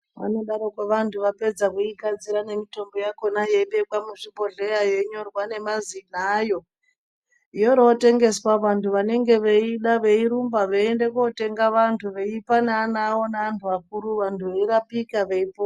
Vanodaroko vantu vapedza kuigadzira nemitombo yakona yeibekwa muzvibhohleya yeinyorwa nemazina ayo yoorotengeswa vantu vanenge veiida veirumba veiende kuotenga vantu veipa neana avo neantu akuru vantu veirapika veipo....